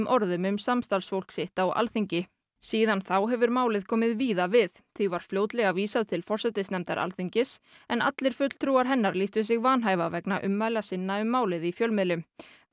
orðum um samstarfsfólk sitt á Alþingi síðan þá hefur málið komið víða við því var fljótlega vísað til forsætisnefndar Alþingis en allir fulltrúar hennar lýstu sig vanhæfa vegna ummæla sinna um málið í fjölmiðlum